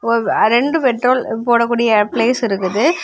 ஒரு ரெண்டு பெட்ரோல் போடக்கூடிய பிளேஸ் இருக்குது.